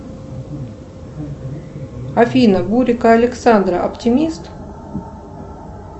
афина гурика александра оптимист